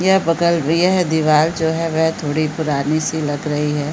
यह बकलब यह दीवार जो है वह थोड़ी पुरानी सी लग रही है।